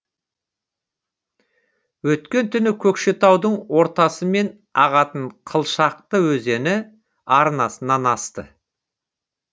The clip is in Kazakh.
өткен түні көкшетаудың ортасымен ағатын қылшақты өзені арнасынан асты